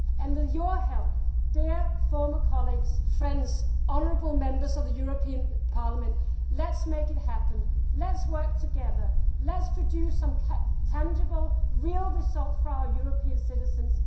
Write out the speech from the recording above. With your help, dear former colleagues, friends, honourable Members of the European Parliament, let us make it happen, let us work together and let us produce some tangible, real results for our European citizens.